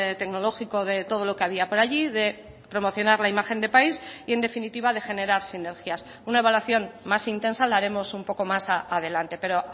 tecnológico de todo lo que había por allí de promocionar la imagen de país y en definitiva de generar sinergias una evaluación más intensa la haremos un poco más adelante pero